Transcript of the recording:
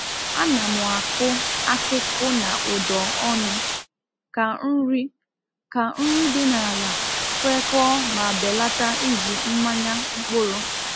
A na m akụ akịkụ na ụ̀dọ ọnụ ka nri ka nri dị n’ala kwekọọ ma belata iji mmanya mkpụrụ.